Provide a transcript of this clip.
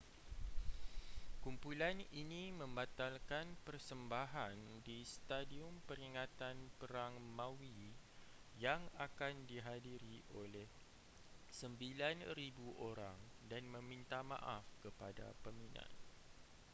kumpulan ini membatalkan persembahan di stadium peringatan perang maui yang akan dihadiri oleh 9.000 orang dan meminta maaf kepada peminat